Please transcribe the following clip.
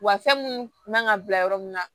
Wa fɛn mun kan ka bila yɔrɔ min na